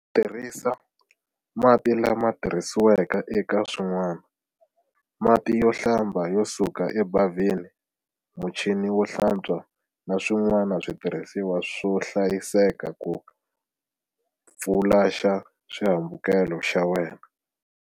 Tirhisa mati lamatirhisiweke eka swin'wani, mati yo hlamba yo suka ebavhini, muchini wo hlatswa na swin'wani switirhisiwa swo hlayiseka ku fulaxa xihambukelo xa wena.